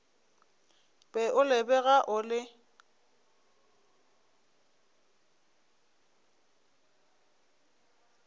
be o lebega o le